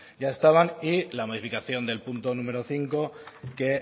ya estaban y la modificación del punto número cinco que